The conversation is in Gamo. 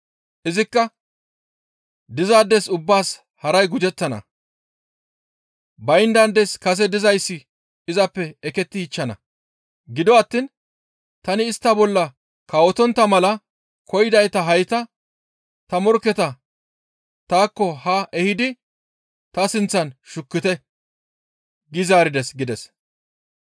«Izikka, ‹Dizaades ubbaas haray gujettana; bayndaades kase dizayssi izappe ekettichchana. Gido attiin tani istta bolla kawotontta mala koyidayta hayta ta morkketa taakko haa ehidi ta sinththan shukkite› gi zaarides» gides.